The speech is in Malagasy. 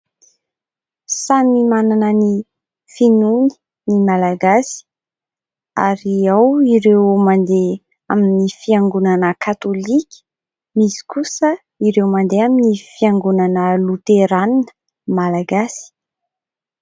Samy manana ny finoany ny malagasy ary ao ireo mandeha amin'ny fiangonana katolika, misy kosa ireo mandeha amin'ny fiangonana loterana malagasy.